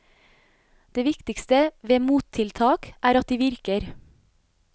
Det viktigste ved mottiltak er at de virker.